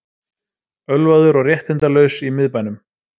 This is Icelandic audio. Ölvaður og réttindalaus í miðbænum